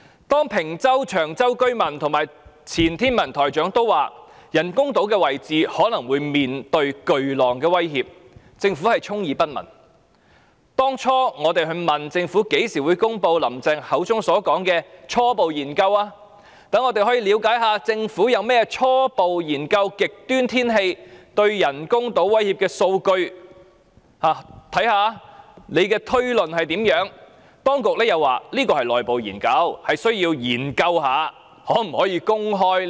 當坪洲和長洲居民及前天文台台長說人工島的位置可能會面對巨浪的威脅，政府充耳不聞；當初我們問政府，何時公布"林鄭"所說的初步研究，讓我們可以了解一下政府初步研究極端天氣對人工島威脅的數據，看看推論如何，當局又說這是內部研究，需要研究一下可否公開。